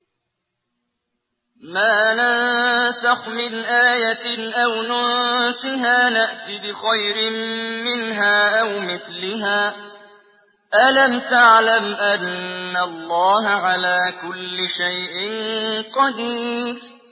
۞ مَا نَنسَخْ مِنْ آيَةٍ أَوْ نُنسِهَا نَأْتِ بِخَيْرٍ مِّنْهَا أَوْ مِثْلِهَا ۗ أَلَمْ تَعْلَمْ أَنَّ اللَّهَ عَلَىٰ كُلِّ شَيْءٍ قَدِيرٌ